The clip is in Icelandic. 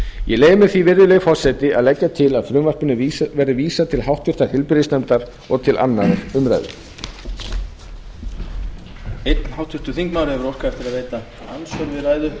ég leyfi mér því virðulegi forseti að leggja til að frumvarpinu verði vísað til háttvirtrar heilbrigðisnefndar og til annarrar umræðu